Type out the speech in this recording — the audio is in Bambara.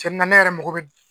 tiɲɛ na ne yɛrɛ mago bɛ